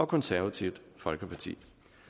konservative folkeparti